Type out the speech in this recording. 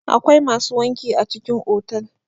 akwai masu wanki a cikin otal